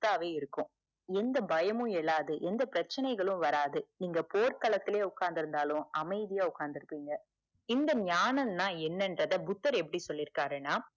சொத்தாவே இருக்கும் எந்த பயமும் இல்லாது எந்த பிரச்சனைகள் வராது நீங்க போர்கலத்துலே உட்கார்ந்தாலும் அமைதியா உட்கார்ந்து இருப்பீங்க இந்த ஞானம் நா என்னென்ரத புத்தர் எப்புடி சொல்லிருக்காருணா